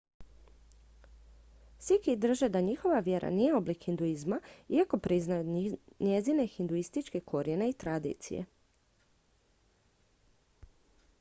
sikhi drže da njihova vjera nije oblik hinduizma iako priznaju njezine hinduističke korijene i tradicije